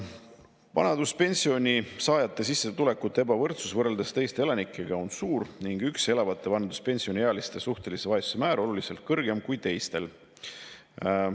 Vanaduspensioni saajate sissetulekute ebavõrdsus võrreldes teiste elanikega on suur ning üksi elavate vanaduspensioniealiste suhtelise vaesuse määr on oluliselt kõrgem kui teistel.